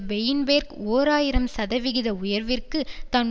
பெயின்பேர்க் ஓர் ஆயிரம் சதவிகித உயர்விற்கு தான்